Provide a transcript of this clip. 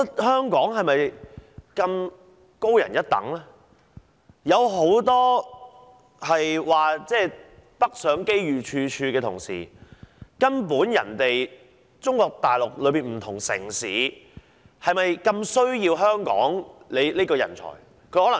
很多人指北上發展機遇處處的同時，中國大陸的不同城市是否如此渴求香港人才呢？